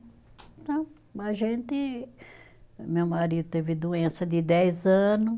Então, a gente, meu marido teve doença de dez ano